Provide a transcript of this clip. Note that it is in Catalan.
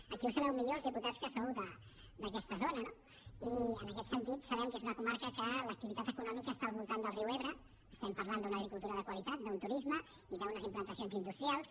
aquí ho sabeu millor els diputats que sou d’aquesta zona no i en aquest sentit sabem que és una comarca que l’activitat econòmica està al voltant del riu ebre estem parlant d’una agricultura de qualitat d’un turisme i d’unes implantacions industrials